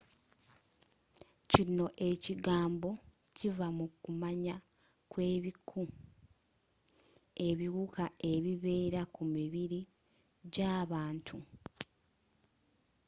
kino ekigambo kiva mu kumanya kw'ebiku ebiwuka ebibeera ku mibiri gy'abantu